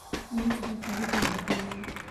nĩnyendete gũthĩĩ heho-inĩ